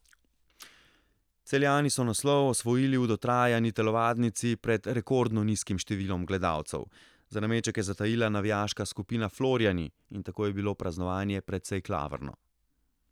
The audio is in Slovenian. Celjani so naslov osvojili v dotrajani telovadnici pred rekordno nizkim številom gledalcev, za nameček je zatajila navijaška skupina Florijani in tako je bilo praznovanje precej klavrno.